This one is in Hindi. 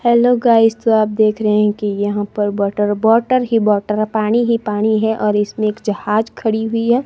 हेलो गाइस तो आप देख रहे हैं कि यहां पर बटर वाटर ही वाटर पानी ही पानी है और इसमें एक जहाज खड़ी हुई है।